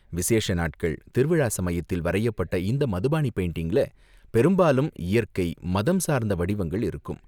விசேஷ நாட்கள், திருவிழா சமயத்தில் வரையப்பட்ட இந்த மதுபாணி பெயிண்டிங்ல பெரும்பாலும் இயற்கை, மதம் சார்ந்த வடிவங்கள் இருக்கும்.